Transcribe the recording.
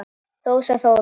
Rósa Þóra.